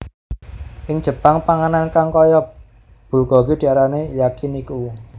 Ing Jepang panganan kang kaya bulgogi diarani Yakiniku